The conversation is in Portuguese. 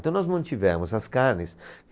Então nós mantivemos as carnes.